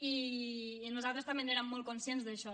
i nosaltres també n’érem molt conscients d’això